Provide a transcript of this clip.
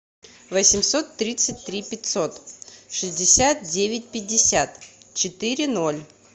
восемьсот тридцать три пятьсот шестьдесят девять пятьдесят четыре ноль